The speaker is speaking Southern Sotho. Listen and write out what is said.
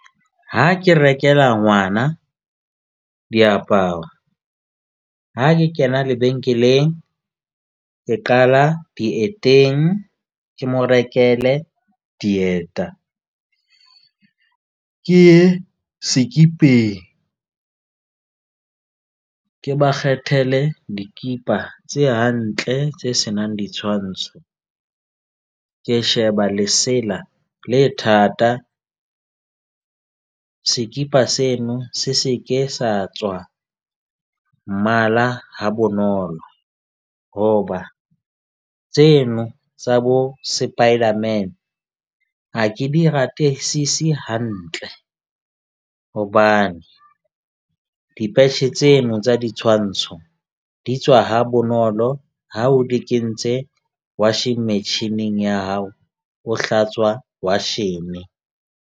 Ha ke rekela ngwana diaparo ha ke kena lebenkeleng, ke qala dieteng, ke mo rekele dieta ke ye sekipeng. Ke ba kgethele dikipa tse hantle, tse senang ditshwantsho. Ke sheba lesela le thata. Sekipa seno se se ke sa tswa mmala ha bonolo. Hoba tseno tsa bo spiderman a ke di ratesisi hantle. Hobane di-patch-e tseno tsa ditshwantsho di tswa ha bonolo. Ha o di kentse washene metjhining ya hao, o hlatswa washene.